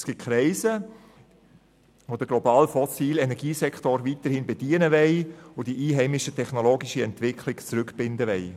Es gibt Kreise, die den globalen fossilen Energiesektor weiterhin bedienen und die einheimische technologische Entwicklung zurückbinden wollen.